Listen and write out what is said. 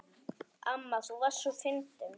Amma þú varst svo fyndin.